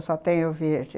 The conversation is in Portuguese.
Eu só tenho verde.